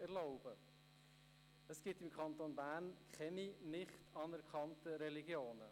Im Kanton Bern gibt es keine nicht anerkannten Religionen.